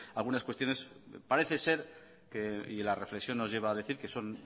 algunas cuestiones parece ser y la reflexión nos lleva a decir que son